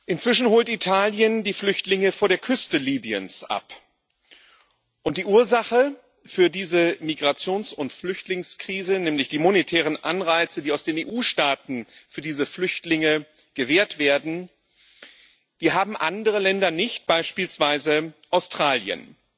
Inzwischen holt Italien die Flüchtlinge vor der Küste Libyens ab, und die Ursache für diese Migrations und Flüchtlingskrise, nämlich die monetären Anreize, die aus den EU Staaten für diese Flüchtlinge gewährt werden, haben andere Länder nicht, beispielsweise Australien.